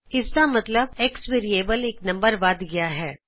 ਇਸ ਦਾ ਮਤਲਬ X ਵੇਰੀਏਬਲ ਇਕ ਨੰਬਰ ਨਗਲ ਵੱਧ ਗਇਆ ਹੈ